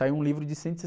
Saiu um livro de cento e